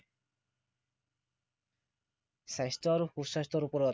স্বাস্থ্য় আৰু সু স্বাস্থ্য়ৰ ওপৰত